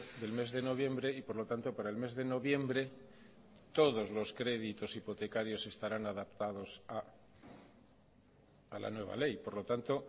del mes de noviembre y por lo tanto para el mes de noviembre todos los créditos hipotecarios estarán adaptados a la nueva ley por lo tanto